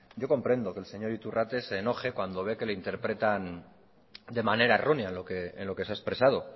yo comprendo que el señor iturrate se enoje cuando ve que le interpretan de manera errónea en lo que se ha expresado